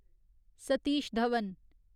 Satish Dhawan